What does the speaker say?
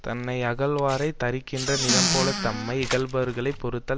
தன்னை யகழ்வாரைத் தரிக்கின்ற நிலம்போலத் தம்மை யிகழுபவர்களைப் பொறுத்தல்